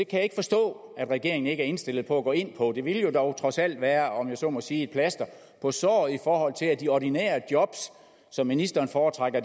kan ikke forstå at regeringen ikke er indstillet på at gå ind på det det ville jo dog trods alt være om jeg så må sige et plaster på såret i forhold til at de ordinære job hvor ministeren foretrækker